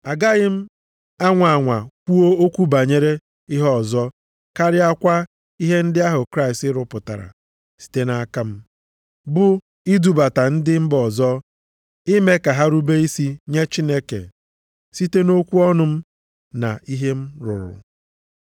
Agaghị m anwa anwa kwuo okwu banyere ihe ọzọ karịakwa ihe ndị ahụ Kraịst rụpụtara site nʼaka m, bụ idubata ndị mba ọzọ, ime ka ha rube isi nye Chineke, site nʼokwu ọnụ m na ihe m rụrụ,